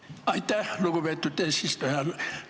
Aitäh, lugupeetud eesistuja!